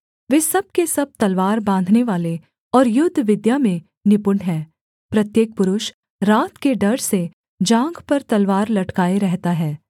वे सब के सब तलवार बाँधनेवाले और युद्ध विद्या में निपुण हैं प्रत्येक पुरुष रात के डर से जाँघ पर तलवार लटकाए रहता है